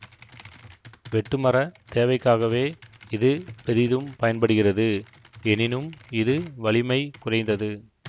வெட்டுமரத் தேவைக்காகவே இது பெரிதும் பயன்படுகிறது எனினும் இது வலிமை குறைந்தது